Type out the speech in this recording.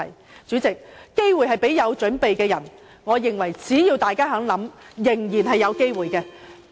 代理主席，機會是留給有準備的人，我認為只要大家願意多想，仍然是有機會的。